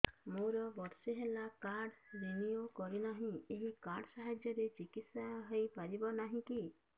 ମୋର ବର୍ଷେ ହେଲା କାର୍ଡ ରିନିଓ କରିନାହିଁ ଏହି କାର୍ଡ ସାହାଯ୍ୟରେ ଚିକିସୟା ହୈ ପାରିବନାହିଁ କି